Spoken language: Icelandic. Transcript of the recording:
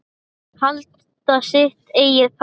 Halda sitt eigið partí.